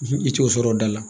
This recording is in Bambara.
I t'o sɔrɔ o da la